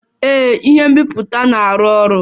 Ee, ihe nbipute na-arụ ọrụ